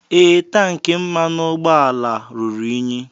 Ee, tank mmanụ ụgbọala ruru unyi.